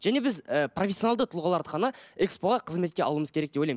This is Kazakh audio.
және біз ыыы профессионалды тұлғаларды ғана экспо ға қызметке алуымыз керек деп ойлаймын